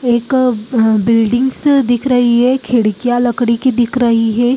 एक बिल्डिंग्स दिख रही है खिड़कियां लकड़ी की दिख रही है।